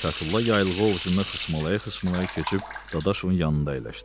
Fətulla yaylığı ovucunda xısmalaya-xısmalaya keçib Dadaşovun yanında əyləşdi.